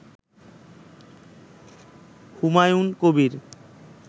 Humayun Kabir